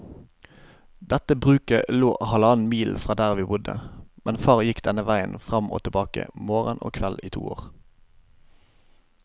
Dette bruket lå halvannen mil fra der vi bodde, men far gikk denne veien fram og tilbake morgen og kveld i to år.